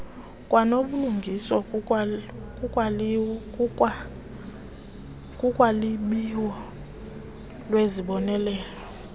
kwanobulungisa kulwabiwo lwezibonelelo